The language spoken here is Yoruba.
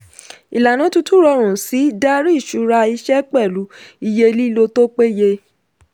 ìlànà tuntun rọrùn sí darí ìṣura iṣẹ́ pẹ̀lú iye lílò tó peye.